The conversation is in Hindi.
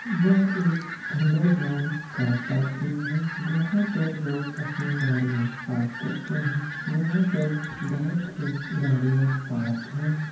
यह एक अंडरग्राउंड कार पार्किंग है जहाँ पर लोग अपनी गाड़ियाँ पार्क करते हैं यहाँ पर बहुत सी गाड़ियाँ पार्क है।